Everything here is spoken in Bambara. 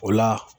O la